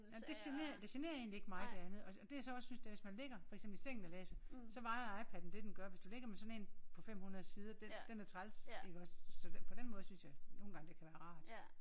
Ej men det genererer det genererer egentlig ikke mig det andet. Og det jeg så også synes det er hvis man ligger for eksempel i sengen og læser så vejer iPaden det den gør hvis du ligger med sådan en på 500 sider den den er træls iggås så på den måde synes jeg nogle gange det kan være rart